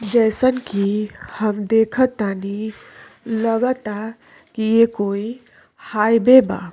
जइसन कि हम देखतानी लगता कि ये कोई हाईवे बा।